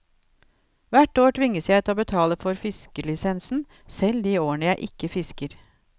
Hvert år tvinges jeg til å betale for fiskelisensen, selv de årene jeg ikke fisker.